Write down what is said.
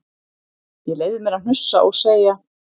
Ég leyfði mér að hnussa og segja